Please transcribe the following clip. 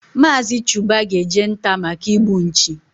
Mazi Chuba ga eje nta maka igbu nchi